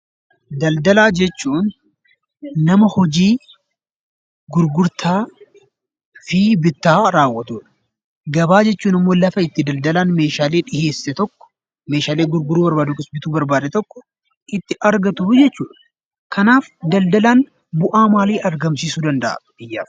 Daldalaa jechuun nama hojii gurgurtaa fi bittaa raawwatudha. Gabaa jechuun immoo lafa itti daldalaan meeshaalee dhiheesse tokko, meeshaalee gurguruu barbaade yookiis bituu barbaade tokko itti argatuu jechuudha. Kanaaf daldalaan bu'aa maalii argamsiisuu danda'a biyyaaf?